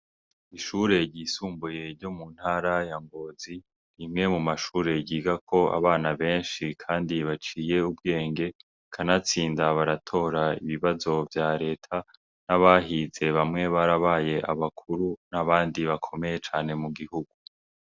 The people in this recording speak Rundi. Ishure ryisumbuye ryo mu ntarayangozi imwe mu mashure giga ko abana benshi, kandi baciye ubwenge kanatsinda baratora ibibazo vya leta n'abahize bamwe barabaye abakuru n'abandi bakomeye cane mu gihugu.